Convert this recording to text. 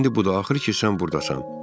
İndi bu da axır ki, sən burdasan.